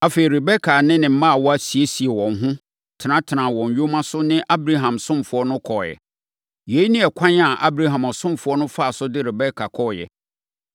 Afei, Rebeka ne ne mmaawa siesiee wɔn ho, tenatenaa wɔn nyoma so ne Abraham ɔsomfoɔ no kɔeɛ. Yei ne ɛkwan a Abraham ɔsomfoɔ no faa so de Rebeka kɔeɛ.